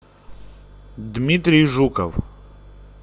дмитрий жуков